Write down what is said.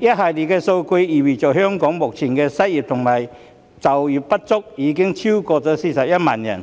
一系列數據意味着香港目前的失業及就業不足人士已超過41萬人，